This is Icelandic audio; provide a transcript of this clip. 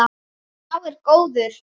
Sá er góður.